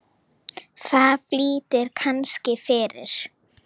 Það flýtir kannski fyrir.